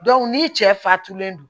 ni cɛ fatulen don